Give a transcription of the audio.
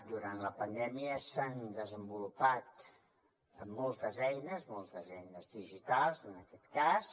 durant la pandèmia s’han desenvolupat moltes eines moltes eines digitals en aquest cas